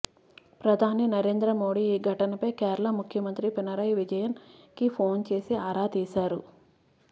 ప్రధాని నరేంద్ర మోడీ ఈ ఘటన పై కేరళ ముఖ్యమంత్రి పినరై విజయన్ కి ఫోన్ చేసి ఆరా తీశారు